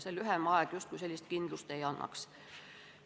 Lühem aeg sellist kindlust justkui ei annaks.